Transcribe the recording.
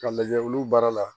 K'a lajɛ olu baara la